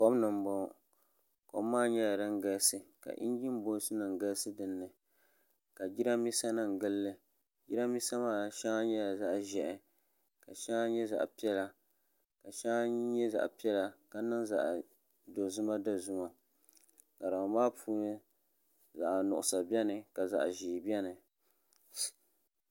kom ni n boŋo kom maa nyɛla din galisi ka injin booti nim galisi dinni ka jiranbiisa nim gilli jiranbiisa maa shɛŋa nyɛla zaɣ ʒiɛhi ka shɛŋa nyɛ zaɣ piɛla ka niŋ zaɣ dozima dozima ŋarima maa puuni zaɣ nuɣsa biɛni ka zaɣ ʒiɛ biɛni